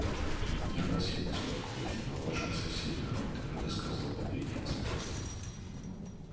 отнюдь не о вас я беспокоюсь но о ваших соседях твёрдо сказал бедренец